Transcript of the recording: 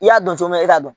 I y'a dɔn cogo min e t'a dɔn